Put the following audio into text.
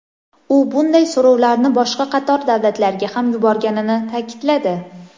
U bunday so‘rovlarni boshqa qator davlatlarga ham yuborganini ta’kidladi.